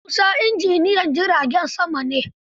Musa injinyan jiragen sama ne.